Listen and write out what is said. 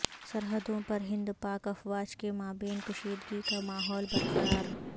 سرحدوں پر ہند پاک افواج کے مابین کشیدگی کا ماحول برقرار